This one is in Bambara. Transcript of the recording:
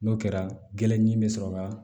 N'o kɛra gɛlɛn ɲi be sɔrɔ ka